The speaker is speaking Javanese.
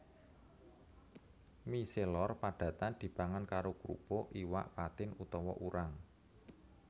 Mie celor padatan dipangan karo krupuk iwak patin utawa urang